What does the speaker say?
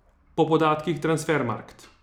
Po podatkih Transfermarkt.